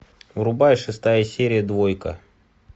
врубай шестая серия двойка